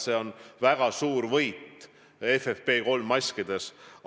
See on väga suur võit FFP3-maskide puhul.